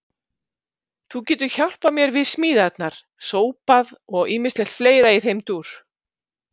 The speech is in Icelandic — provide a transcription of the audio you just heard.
Þú getur hjálpað mér við smíðarnar, sópað og ýmislegt fleira í þeim dúr.